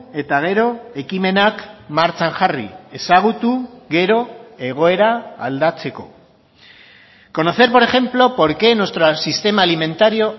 eta gero ekimenak martxan jarri ezagutu gero egoera aldatzeko conocer por ejemplo porque nuestro sistema alimentario